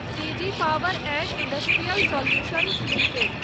CG power and industrial solutions limited